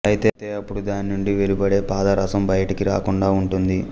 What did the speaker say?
అయితే అప్పుడు దాని నుండి వెలుబడే పాదరసం బయటికి రాకుండా వుంటుంది